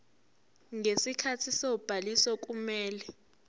ngesikhathi sobhaliso kumele